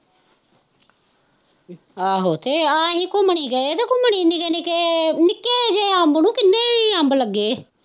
ਆਹੋ, ਅਤੇ ਆਹ ਅਸੀਂ ਘੁੰਮਣ ਹੀ ਗਏ, ਅਤੇ ਘੁੰਮਣ ਹੀ ਨਿੱਕੇ ਨਿੱਕੇ ਨਿੱਕੇ ਜਿਹੇ ਅੰਬ ਨੂੰ ਕਿੰਨੇ ਹੀ ਅੰਬ ਲੱਗੇ